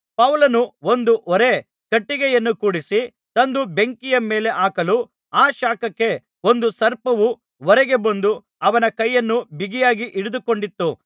ಪೌಲನು ಒಂದು ಹೊರೆ ಕಟ್ಟಿಗೆಯನ್ನು ಕೂಡಿಸಿ ತಂದು ಬೆಂಕಿಯ ಮೇಲೆ ಹಾಕಲು ಆ ಶಾಖಕ್ಕೆ ಒಂದು ಸರ್ಪವು ಹೊರಗೆ ಬಂದು ಅವನ ಕೈಯನ್ನು ಬಿಗಿಯಾಗಿ ಹಿಡಿದುಕೊಂಡಿತು